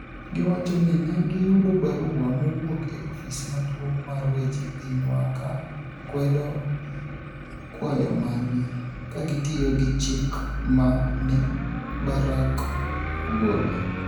Giwacho nii ni e giyudo barua mowuok e ofis maduonig ' mar weche piniywa ka kwedo kwayo margi, ka gitiyo gi chik ma ni e Barak ogolo.